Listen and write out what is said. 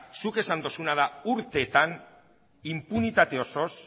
zuk esan duzuna da urteetan inpunitate osoz